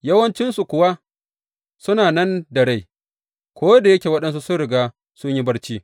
Yawancinsu kuwa suna nan da rai, ko da yake waɗansu sun riga sun yi barci.